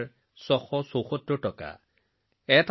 আৰু এই ২ ৩৫৭৯৬৭৪ টকা তেওঁ স্কুল হস্পিতাল লাইব্ৰেৰীত খৰচ কৰিছে